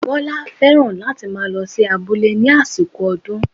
Bọ́lá fẹ́ràn kí ó máa lọ sí abúlé ní àsìkò ọdún